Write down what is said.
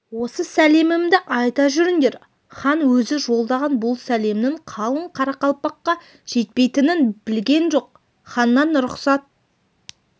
осы сәлемімді айта жүріңдер хан өзі жолдаған бұл сәлемнің қалың қарақалпаққа жетпейтінін білген жоқ ханнан рұқсат